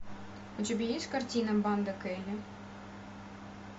у тебя есть картина банда келли